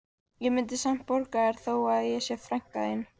Ég mundi samt borga þér þó að ég sé frænka þín